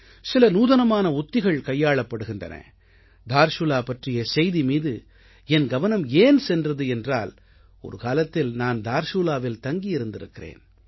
சில நூதனமான உத்திகள் கையாளப்படுகின்றன தார்சுலா பற்றிய செய்தி மீது என் கவனம் ஏன் சென்றது என்றால் ஒரு காலத்தில் நான் தார்சூலாவில் தங்கியிருந்திருக்கிறேன்